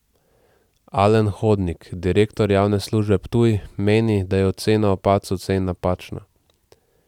Alen Hodnik, direktor Javne službe Ptuj, meni, da je ocena o padcu cen napačna.